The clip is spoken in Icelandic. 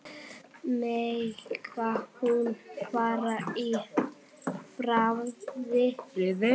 Megi hún fara í friði.